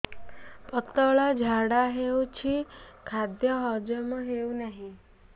ପତଳା ଝାଡା ହେଉଛି ଖାଦ୍ୟ ହଜମ ହେଉନାହିଁ